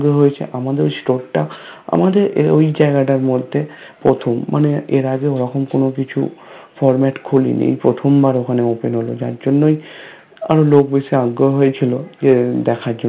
আমাদের ওই Store টা আমাদের ওই জায়গাটার মধ্যে প্রথম মানে এর আগে ওরকম কোনো কিছু Format খোলেনি এই প্রথমবার ওখানে Open হলো যার জন্যই আরো লোক বেশি আগ্রহ হয়েছিল যে দেখার জন্য